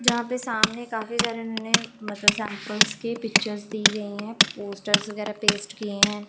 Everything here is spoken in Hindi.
जहां पे सामने काफी सारे नें मतलब सैंपल्स के पिक्चर्स दी गई है पोस्टर्स वगैरह पेस्ट किए हैं।